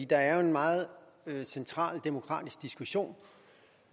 der er jo en meget central demokratisk diskussion